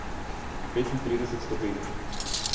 Petintrideset stopinj.